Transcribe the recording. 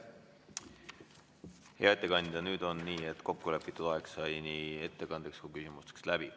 Hea ettekandja, nüüd on nii, et kokkulepitud aeg nii ettekandeks kui küsimusteks sai läbi.